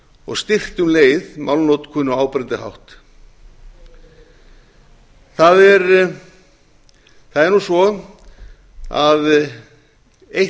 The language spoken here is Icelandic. og styrkt um leið málnotkun á áberandi hátt það er svo að eitt